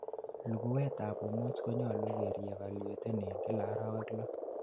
luguwet ab hormones konyalu ke re evaluaten en kila orowek loo